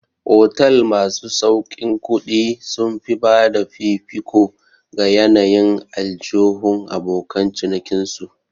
Otal masu sauƙin kuɗi sun fi bada fifiko ga yanayin aljihun abokan cinikin su